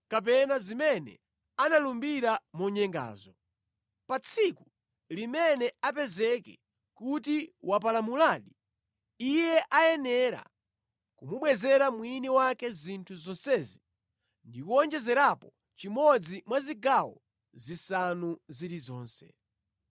kapena zimene analumbira monyengazo. Pa tsiku limene apezeke kuti wapalamuladi, iye ayenera kumubwezera mwini wake zinthu zonsezi ndi kuwonjezerapo chimodzi mwa zigawo zisanu zilizonse.